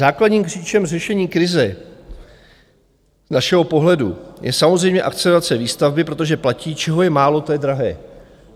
Základním klíčem řešení krize z našeho pohledu je samozřejmě akcelerace výstavby, protože platí, čeho je málo, to je drahé.